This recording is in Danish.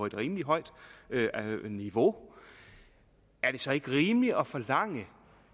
et rimelig højt niveau er det så ikke rimeligt at forlange